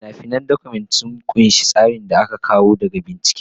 Fina-finan Document ɗin sun ƙunshi tsarin da aka samo daga bincike.